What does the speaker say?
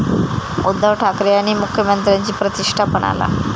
उद्धव ठाकरे आणि मुख्यमंत्र्यांची प्रतिष्ठा पणाला